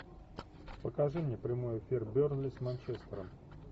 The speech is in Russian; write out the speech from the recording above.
покажи мне прямой эфир бернли с манчестером